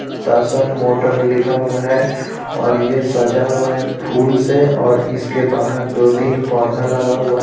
टशन motor लिखा हुआ है और यह सजा हुआ है फूल से और इसके बाहर दो-तीन पौधा लगा हुआ है.